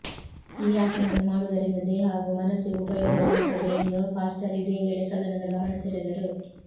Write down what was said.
ಈ ಆಸನವನ್ನು ಮಾಡುವುದರಿಂದ ದೇಹ ಹಾಗೂ ಮನಸ್ಸಿಗೂ ಉಪಯೋಗವಾಗುತ್ತದೆ ಎಂದು ಫಾಸ್ಟರ್ ಇದೇ ವೇಳೆ ಸದನದ ಗಮನಸೆಳೆದರು